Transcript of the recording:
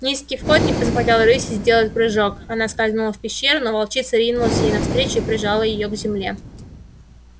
низкий вход не позволял рыси сделать прыжок она скользнула в пещеру но волчица ринулась ей навстречу и прижала её к земле